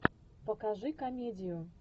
покажи комедию